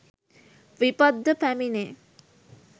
විපත් ද පැමිණේ.